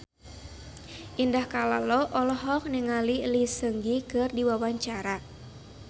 Indah Kalalo olohok ningali Lee Seung Gi keur diwawancara